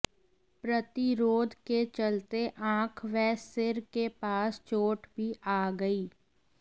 प्रतिरोध के चलते आंख व सिर के पास चोट भी आ गई